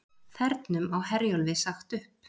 Þernum á Herjólfi sagt upp